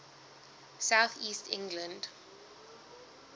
south east england